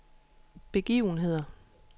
begivenheder